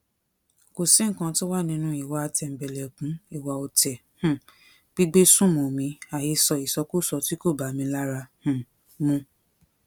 kò sí nǹkan tó wà nínú ìwà tẹmbẹlẹkun ìwà ọtẹ um gbígbé sùnmọ̀mí àhesọ ìsọkúsọ tí kò bá mi lára um mu